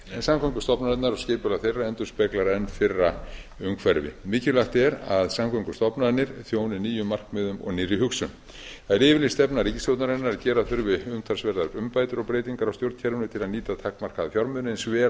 samgöngustofnanirnar og skipulag þeirra endurspeglar enn fyrra umhverfi mikilvægt er að samgöngustofnanir þjóni nýjum markmiðum og nýrri hugsun það er yfirlýst stefna ríkisstjórnarinnar að gera þurfi umtalsverðar umbætur og breytingar á stjórnkerfinu til að nýta takmarkaða fjármuni eins